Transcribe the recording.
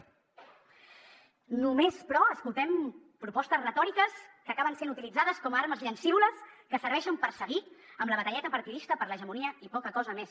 només però escoltem propostes retòriques que acaben sent utilitzades com a armes llancívoles que serveixen per seguir amb la batalleta partidista per a l’hegemonia i poca cosa més